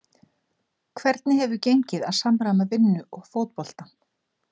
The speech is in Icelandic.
Hvernig hefur gengið að samræma vinnu og fótboltann?